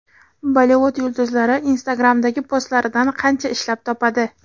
Bollivud yulduzlari Instagram’dagi postlaridan qancha ishlab topadi?.